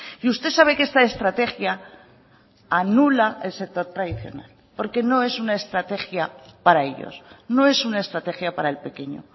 y usted sabe que esta estrategia anula el sector tradicional porque no es una estrategia para ellos no es una estrategia para el pequeño